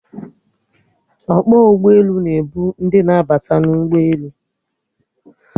Ọkpọ ụgbọelu na-ebu ndị na-abata n'ụgbọelu